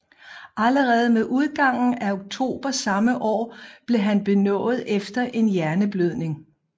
Allerede med udgangen af oktober samme år blev han benådet efter en hjerneblødning